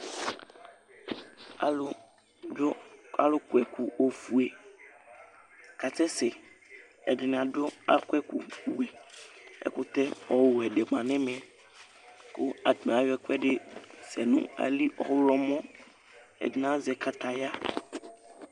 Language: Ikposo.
alo do alo kɔ ɛkò ofue k'asɛ sɛ ɛdini adu akɔ wɛ ɛkò ɛkutɛ ɔwɛ di ma no ɛmɛ kò atani ayɔ ɛkuɛdi sɛ no ayili ɔwlɔmɔ ɛdini azɛ kataya